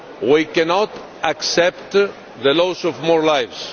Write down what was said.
We cannot accept the loss of more lives.